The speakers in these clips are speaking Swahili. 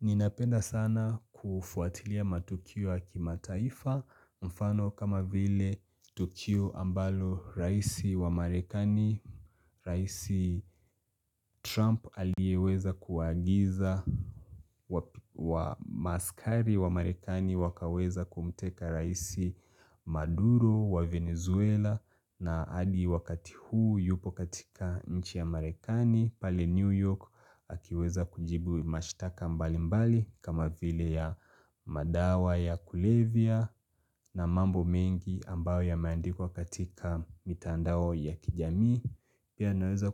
Ninapenda sana kufuatilia matukio ya kimataifa mfano kama vile tukio ambalo raisi wa marekani raisi trump aliyeweza kuagiza wa maskari wa marekani wakaweza kumteka raisi maduro wa venezuela na hadi wakati huu yupo katika nchi ya marekani pale New York akiweza kujibu mashtaka mbali mbali kama vile ya madawa ya kulevya na mambo mengi ambayo yameandikwa katika mitandao ya kijamii Pia naweza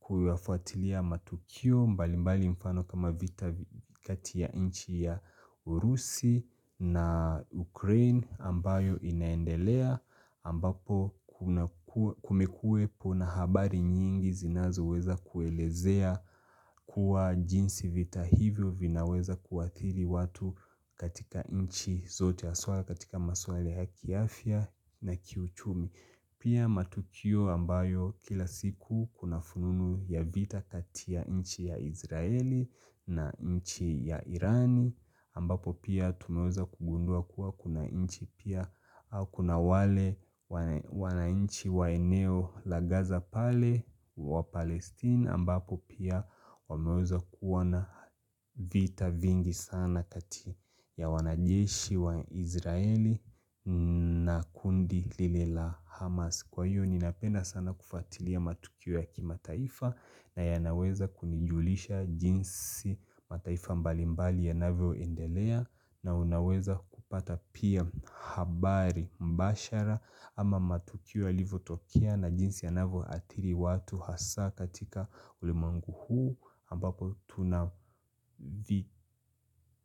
kuyafuatilia matukio mbali mbali mfano kama vita kati ya nchi ya Urusi na Ukraine ambayo inaendelea ambapo kumekuwepo na habari nyingi zinazoweza kuelezea kuwa jinsi vita hivyo vinaweza kuathiri watu katika nchi zote haswa katika maswala ya kiafya na kiuchumi Pia matukio ambayo kila siku kuna fununu ya vita kati ya nchi ya Izraeli na nchi ya Irani ambapo pia tumeweza kugundua kuwa kuna nchi pia au kuna wale wanainchi wa eneo la gaza pale wa Palestine ambapo pia wameweza kuwa na vita vingi sana kati ya wanajeshi wa Izraeli na kundi lile la Hamas Kwa hiyo ninapenda sana kufuatilia matukio ya kimataifa na yanaweza kunijulisha jinsi mataifa mbali mbali yanavyoendelea na unaweza kupata pia habari mbashara ama matukio yalivyotokea na jinsi yanavyoathiri watu hasaa katika ulimwengu huu ambapo tuna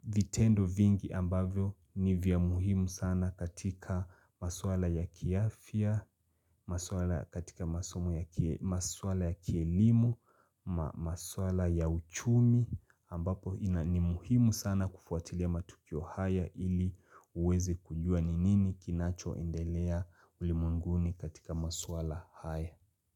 vitendo vingi ambavyo ni vya muhimu sana katika maswala ya kiafya, katika maswala ya kielimu, maswala ya uchumi ambapo ni muhimu sana kufuatilia matukio haya ili uweze kujua ni nini kinachoendelea ulimwenguni katika maswala haya.